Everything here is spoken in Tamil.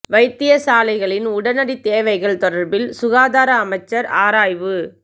வைத்தியசாலைகளின் உடனடி தேவைகள் தொடர்பில் சுகாதார அமைச்சர் ஆராய்வு